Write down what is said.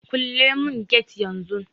Kule mun get yan zun